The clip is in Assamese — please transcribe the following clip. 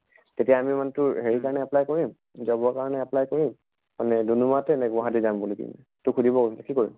তেতিয়া আমি মানে তোৰ হেৰিৰ কাৰণে apply কৰিম, job ৰ কাৰণে apply কৰিম আমি দুম্দুমাতে নে গুৱাহাটী যাম বুলি । তোক সুধিব কৈছিলে কি কৰিম।